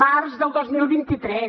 març del dos mil vint tres